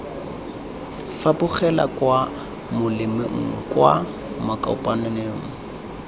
fapogela kwa molemeng kwa makopanelong